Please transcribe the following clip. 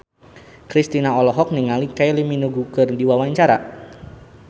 Kristina olohok ningali Kylie Minogue keur diwawancara